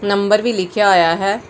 Number ਵੀ ਲਿਖਿਆ ਹੋਇਆ ਹੈ।